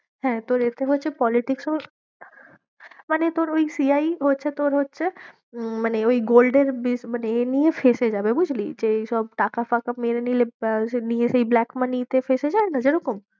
হ্যাঁ, তোর এতে হচ্ছে politics ও মানে তোর ওই CI হচ্ছে তোর হচ্ছে উম মানে ওই gold এর মানে এমনিই ফেঁসে যাবে বুঝলি? যে এইসব টাকা ফাকা মেরে নিলে আহ সে নিয়ে সেই black money তে ফেঁসে যায় না যেরকম?